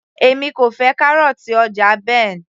èmi kò fẹ́ kárọ̀ọ̀tì ọjà Ben